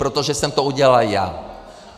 Protože jsem to udělal já.